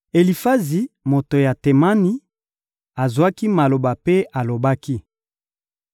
Elifazi, moto ya Temani, azwaki maloba mpe alobaki: